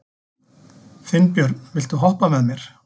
Finnbjörn, viltu hoppa með mér?